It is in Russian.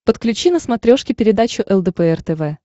подключи на смотрешке передачу лдпр тв